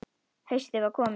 Haustið var komið.